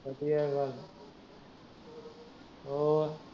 ਵਧੀਆ ਗੱਲ ਏ, ਹੋਰ